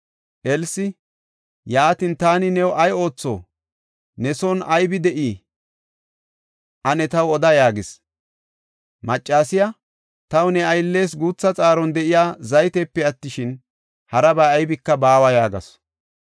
Elsi, “Yaatin taani new ay ootho? Ne son aybe de7ey? Ane taw oda” yaagis. Maccasiya, “Taw, ne ayllees guutha xaaron de7iya zaytepe attishin, harabay aybika baawa” yaagasu.